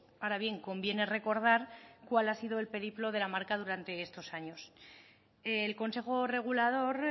ahora bien conviene recordar cuál ha sido el periplo de la marca durante estos años el consejo regulador